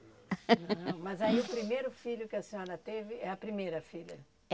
Não, mas aí o primeiro filho que a senhora teve, é a primeira filha? É